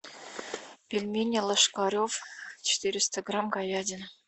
пельмени лошкарев четыреста грамм говядина